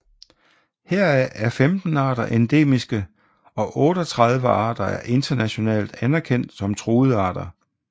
Heraf er 15 arter endemiske og 38 arter er internationalt anerkendt som truede arter